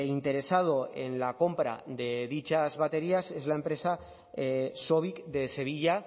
interesado en la compra de dichas baterías es la empresa sovic de sevilla